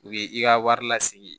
U ye i ka wari lasegin